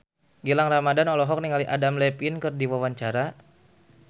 Gilang Ramadan olohok ningali Adam Levine keur diwawancara